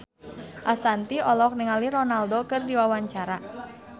Ashanti olohok ningali Ronaldo keur diwawancara